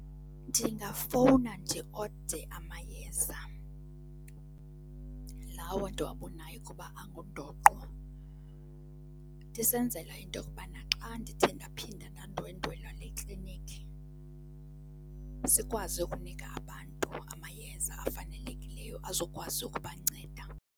Ndingafowuna ndiode amayeza, lawo ndiwabanayo ukuba angundoqo, ndisenzela into yokubana xa ndithe ndaphinda ndandwendwela le kliniki sikwazi ukunika abantu amayeza afanelekileyo azokwazi ukubanceda.